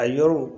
A yɔrɔw